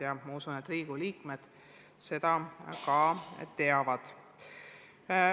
Ja ma usun, et Riigikogu liikmed seda ka teavad.